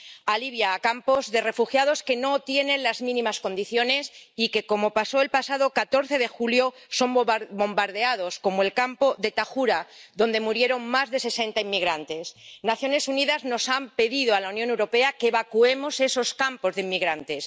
A Libia, a campos de refugiados que no tienen las mínimas condiciones y que, como pasó el pasado 14 de julio, son bombardeados, como el campo de Tayura, donde murieron más de sesenta inmigrantes. Las Naciones Unidas han pedido a la Unión Europea que evacuemos esos campos de inmigrantes.